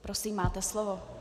Prosím máte slovo.